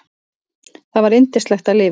Það var yndislegt að lifa.